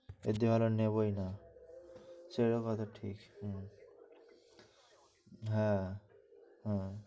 একদিন আমরা নেবোই না সে রকম ভাবছি, হ্যাঁ হ্যাঁ